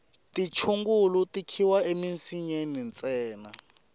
tichungulu ti khiwa emisinyeni ntsena